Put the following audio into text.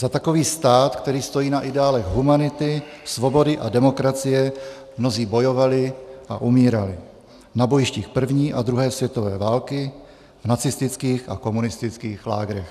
Za takový stát, který stojí na ideálech humanity, svobody a demokracie, mnozí bojovali a umírali na bojištích první a druhé světové války, v nacistických a komunistických lágrech.